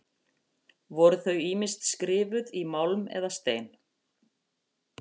Voru þau ýmist skrifuð í málm eða stein.